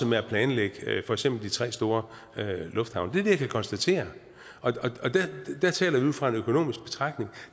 med at planlægge for eksempel de tre store lufthavne det er det jeg kan konstatere og der taler vi ud fra en økonomisk betragtning